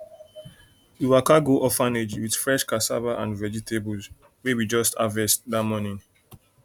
we waka go orphanage with fresh cassava and vegetables wey we just harvest that morning